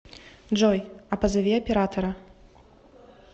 джой а позови оператора